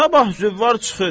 Sabah Züvar çıxır.